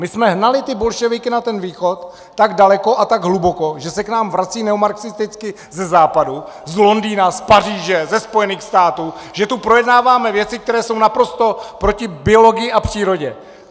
My jsme hnali ty bolševiky na ten východ tak daleko a tak hluboko, že se k nám vrací neomarxisticky ze západu, z Londýna, z Paříže, ze Spojených států, že tu projednáváme věci, které jsou naprosto proti biologii a přírodě!